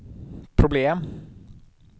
problem